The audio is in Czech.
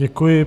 Děkuji.